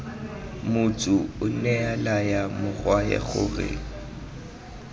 motsu onea laya morwae gore